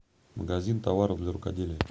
магазин товаров для рукоделия